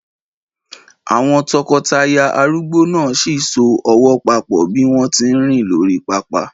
Àwọn tọkọtaya arúgbó náà sì ń so ọwọ́ papọ̀ bí wọ́n tí ń rìn lórí pápá.